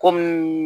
Kɔmi